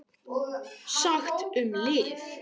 SAGT UM LIV